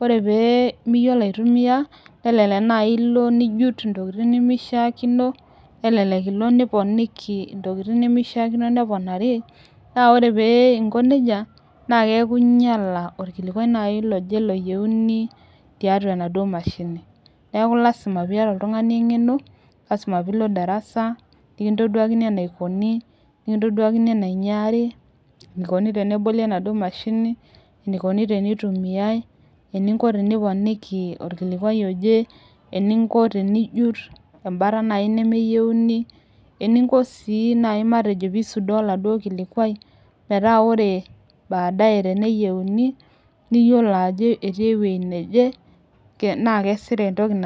ore penimiyiolo aitumia, nelelek naji ilo, nijut intokitin nemishakino, nelelek ilo niponiki intokitin nemeshakino neponari na ore peingo neijia na kiaku inyiala olkilikua oje oyieuni naji tiatua ina mashini, niaku lasima piata oltungani engeno lasima pilo darasa, nikintoduakini enaikoni, nikintoduakini enaikunari, enaikoni tena